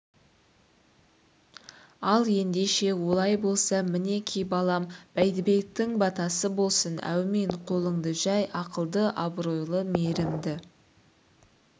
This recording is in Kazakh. ал ендеше олай болса мінеки балам бәйдібектің батасы болсын әумин қолынды жәй ақылды абыройлы мейірлі